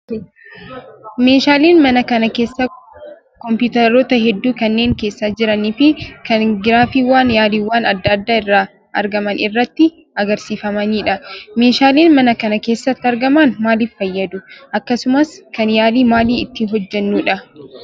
Meeshaaleen mana kana keessaa kompiitaroota hedduu kanneen keessa jiranii fi kan giraafiiwwan yaaliiwwan adda addaa irraa argaman irratti agarsiifamanidha. Meeshaaleen mana kana keessatti argaman maaliif fayyadu? Akkasumas kan yaalii maalii itti hojjannudha?